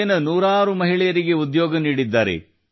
ಇಲ್ಲಿನ ನೂರಾರು ಮಹಿಳೆಯರಿಗೆ ಉದ್ಯೋಗ ನೀಡಿದ್ದಾರೆ